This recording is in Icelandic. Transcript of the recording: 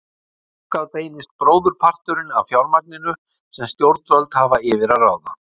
Þangað beinist bróðurparturinn af fjármagninu sem stjórnvöld hafa yfir að ráða.